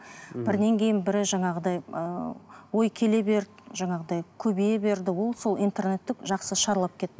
мхм бірінен кейін бірі жаңағыдай ыыы ой келе берді жаңағыдай көбейе берді ол сол интернетті жақсы шарлап